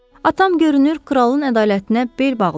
Atam görünür kralın ədalətinə bel bağlayırdı.